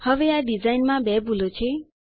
હવે આ ડીઝાઇનમાં બે ભૂલો છે